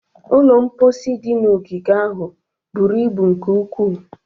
Ụlọ mposi dị na ogige ahụ buru ibu nke ukwuu.